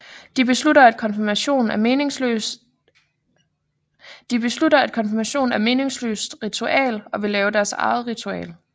De beslutter at konfirmation er meningsløst ritual og vil lave deres eget ritual